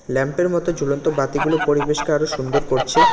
ল্যাম্পের মতো ঝুলন্ত বাতিগুলো পরিবেশকে আরো সুন্দর করছে।